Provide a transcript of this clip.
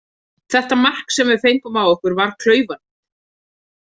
Þetta mark sem við fengum á okkur var klaufalegt.